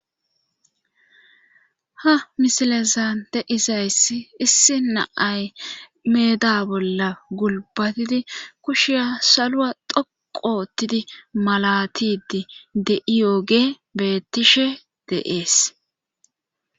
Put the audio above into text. Ha misilezan deizayss issi naay meeda bolla gulbatidi kushiya salua dhoqoottidi malatidi de'iyooge bettishe deees.